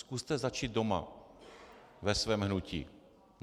Zkuste začít doma, ve svém hnutí.